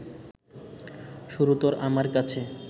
সুরতরু আমার কাছে